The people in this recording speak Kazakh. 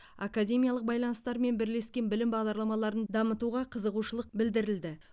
академиялық байланыстар мен бірлескен білім бағдарламаларын дамытуға қызығушылығы білдірілді